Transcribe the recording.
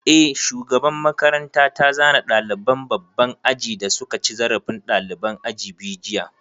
Eh, shugaban makaranta ta zane ɗaliban babban aji da suka ci zarafin ɗaliban aji biyu jiya